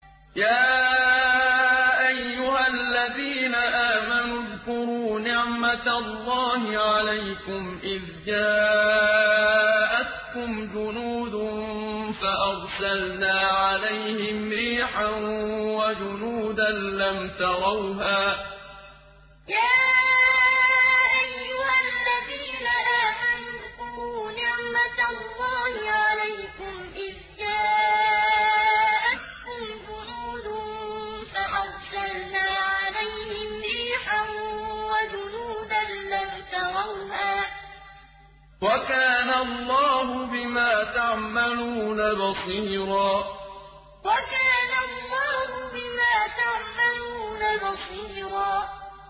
يَا أَيُّهَا الَّذِينَ آمَنُوا اذْكُرُوا نِعْمَةَ اللَّهِ عَلَيْكُمْ إِذْ جَاءَتْكُمْ جُنُودٌ فَأَرْسَلْنَا عَلَيْهِمْ رِيحًا وَجُنُودًا لَّمْ تَرَوْهَا ۚ وَكَانَ اللَّهُ بِمَا تَعْمَلُونَ بَصِيرًا يَا أَيُّهَا الَّذِينَ آمَنُوا اذْكُرُوا نِعْمَةَ اللَّهِ عَلَيْكُمْ إِذْ جَاءَتْكُمْ جُنُودٌ فَأَرْسَلْنَا عَلَيْهِمْ رِيحًا وَجُنُودًا لَّمْ تَرَوْهَا ۚ وَكَانَ اللَّهُ بِمَا تَعْمَلُونَ بَصِيرًا